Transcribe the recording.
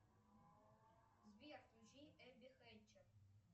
сбер включи эбби хэтчер